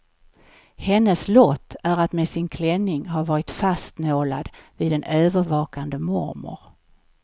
Hennes lott är att med sin klänning ha varit fastnålad vid en övervakande mormor.